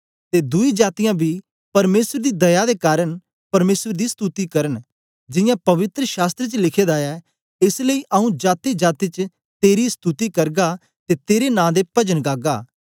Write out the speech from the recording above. ते दुई जातीयां बी परमेसर दी दया दे कारन परमेसर दी स्तुति करन जियां पवित्र शास्त्र च लिखे दा ऐ एस लेई आऊँ जातीजाती च तेरी स्तुति करगा ते तेरे नां दे पजन गागा